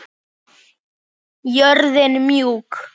Jörðin mjúk.